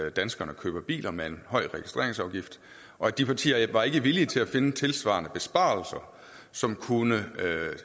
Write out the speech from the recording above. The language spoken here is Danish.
at danskerne køber biler med en høj registreringsafgift og de partier var ikke villige til at finde tilsvarende besparelser som kunne